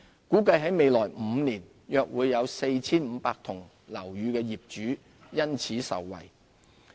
估計在未來5年約 4,500 幢樓宇的業主因此受惠。